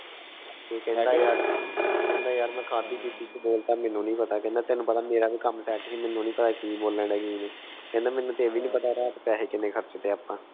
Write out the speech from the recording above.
ਕਹਿੰਦਾ ਮੈਂ ਕ ਖਾਦੀ ਪੀਤੀ ਚ ਬੋਲਤਾ ਮੈਨੂੰ ਨੀ ਪਤਾ ਕਹਿੰਦਾ ਤੈਨੂੰ ਪਤਾ ਮੇਰਾ ਕਾਮ set ਸੀ ਮੈਨੂੰ ਨੀ ਪਤਾ ਕਿ ਬੋਲਾਂ ਡਿਯਾ ਸੀ ਮੈਂ ਕਹਿੰਦਾ ਮੈਨੂੰ ਤਾਂ ਇਹ ਵੀ ਨੀ ਪਤਾ ਰਾਤ ਪੈਸੇ ਕਰਚ ਤੇ ਅੱਪਾ